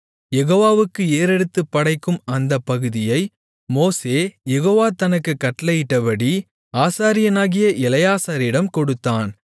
யெகோவாவுக்கு ஏறெடுத்துப் படைக்கும் அந்தப் பகுதியை மோசே யெகோவா தனக்குக் கட்டளையிட்டபடி ஆசாரியனாகிய எலெயாசாரிடம் கொடுத்தான்